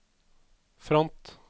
front